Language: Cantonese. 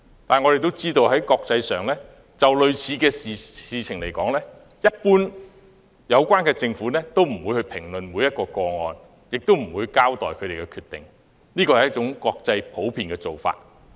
但是，我亦知道，就類似事情來說，有關政府一般不會評論每一宗個案或交代他們的決定，這是國際的普遍做法。